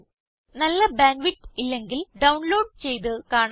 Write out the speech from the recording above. നല്ല bandwidth ഇല്ലെങ്കിൽ download ചെയ്ത് കാണാവുന്നതാണ്